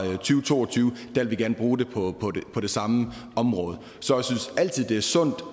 to og tyve vil vi gerne bruge det på det samme område så jeg synes altid det er sundt